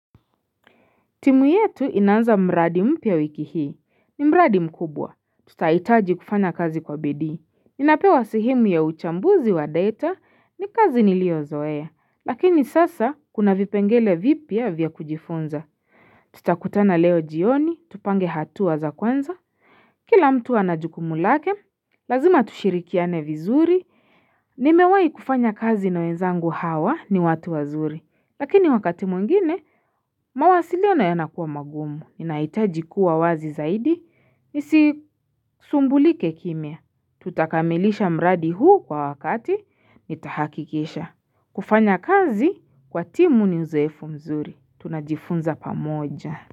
Timu yetu inaanza mradi mpya wiki hii, ni mradi mkubwa, tutaitaji kufanya kazi kwa bidii, ninapewa sehemu ya uchambuzi wa data, ni kazi nilio zoa, lakini sasa kuna vipengele vipya vya kujifunza, tutakutana leo jioni, tupange hatuaza kwanza, kila mtu anajukumu lake, lazima tushirikiane vizuri, nimewai kufanya kazi na wenzangu hawa ni watu wazuri, lakini wakati mwingine, mawasiliano yana kuwa magumu, Ninaitaji kuwa wazi zaidi, nisi sumbulike kimya. Tutakamilisha mradi huu kwa wakati, nitahakikisha. Kufanya kazi, kwa timu ni uzoefu mzuri. Tunajifunza pa moja.